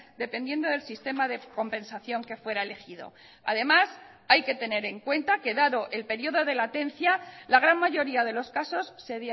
dependiendo del sistema de compensación que fuera elegido además hay que tener en cuenta que dado el periodo de latencia la gran mayoría de los casos se